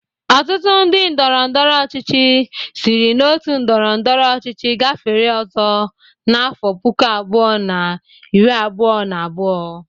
Ọtụtụ ndị ndọrọndọrọ ọchịchị sịrị n'otu ndọrọndọrọ ọchịchị gafere ọzọ na afọ puku abụọ na iri abụọ na abụọ.